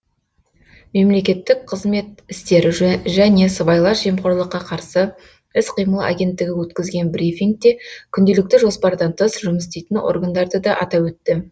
мемлекеттік қызмет істері және сыбайлас жемқорлыққа қарсы іс қимыл агенттігі өткізген брифингте күнделікті жоспардан тыс жұмыс істейтін органдарды да атап өтті